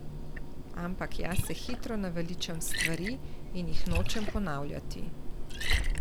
Ampak jaz se hitro naveličam stvari in jih nočem ponavljati.